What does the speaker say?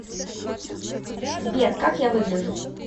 сбер как я выгляжу